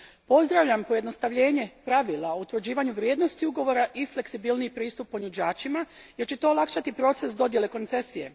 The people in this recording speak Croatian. Pozdravljam pojednostavljenje pravila o utvrđivanju vrijednosti ugovora i fleksibilniji pristup ponuđačima jer će to olakšati proces dodjele koncesije.